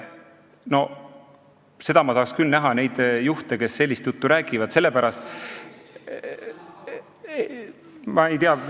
No ma tahaks küll näha neid juhte, kes sellist juttu räägivad!